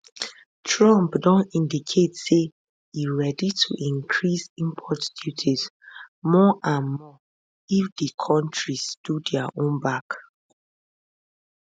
trump don indicate say e ready to increase import duties more and more if di kontris do dia own back